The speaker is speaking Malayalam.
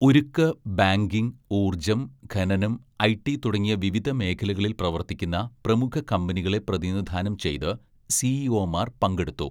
ഉരുക്ക്, ബാങ്കിങ്, ഊർജം, ഖനനം, ഐടി തുടങ്ങിയ വിവിധ മേഖലകളിൽ പ്രവർത്തിക്കുന്ന പ്രമുഖ കമ്പനികളെ പ്രതിനിധാനം ചെയ്ത് സിഇഒമാർ പങ്കെടുത്തു.